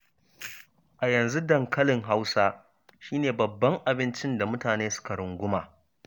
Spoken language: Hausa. A yanzu dankalin Hausa shi ne babban abincin da mutane suka runguma.